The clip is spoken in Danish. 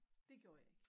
Dét gjorde jeg ikke